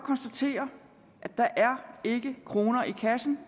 herre per clausen